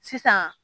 Sisan